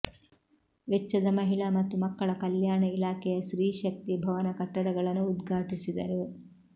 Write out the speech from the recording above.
ವೆಚ್ಚದ ಮಹಿಳಾ ಮತ್ತು ಮಕ್ಕಳ ಕಲ್ಯಾಣ ಇಲಾಖೆಯ ಸ್ತ್ರೀಶಕ್ತಿ ಭವನ ಕಟ್ಟಡಗಳನ್ನು ಉದ್ಘಾಟಿಸಿದರು